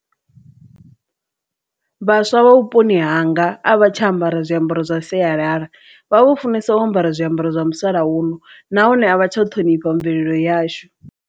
Vhaswa vha vhuponi hanga a vha tsha ambara zwiambaro zwa sialala vha vho funesa u ambara zwiambaro zwa musalauno nahone a vha tsha u ṱhonifha mvelelo yashu.